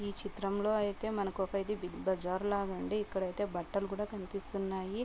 ఈ చిత్రంలో అయితే మనకు ఇక ఇది బిగ్ బజార్ లాగా ఉంది .ఇక్కడ అయితే బట్టలు కూడా కనిపిస్తున్నాయి.